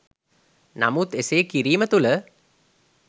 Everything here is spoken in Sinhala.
නමුත් එසේ කිරීම තුළ